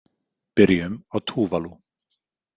Byrjum á Tuvalu.